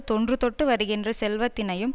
தொன்றுதொட்டு வருகின்ற செல்வத்தினையும்